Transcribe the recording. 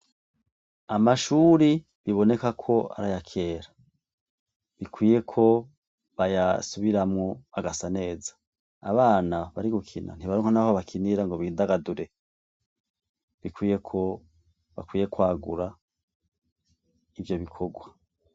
Amashure biboneka ko ari ayakera, bikwiye ko bayasubiramwo agasa neza. Abana bari gukina, ntibaronka aho bakinira ngo bidagadure. Bikwiye ko bakwiye kwagura ivyo bikorwa.